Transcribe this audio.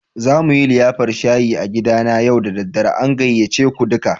Za mu yi liyafar shayi a gidana yau da dare. An gayyace ku duka.